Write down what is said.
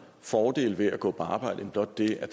fordele ved at gå på arbejde end blot det at